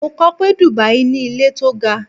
Mo kọ pé Dubai ní ilé tó ga